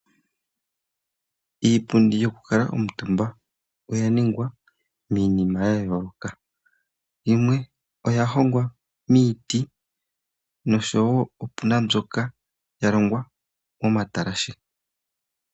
Iipundi yokukuutumba oya ningwa miinima ya yooloka. Yimwe oya hongwa miiti noshowo opuna wo mbyoka ya longwa momatalashe.